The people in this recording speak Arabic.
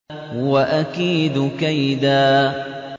وَأَكِيدُ كَيْدًا